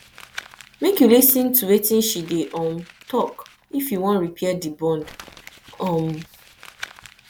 make you lis ten to wetin she dey um tok if you wan repair di bond um